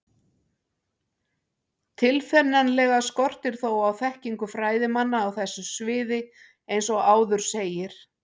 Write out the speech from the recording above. Tilfinnanlega skortir þó á þekkingu fræðimanna á þessu sviði eins og áður segir.